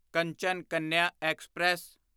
Kanchan Kanya express